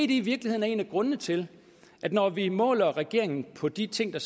det i virkeligheden en af grundene til at når vi måler regeringen på de ting der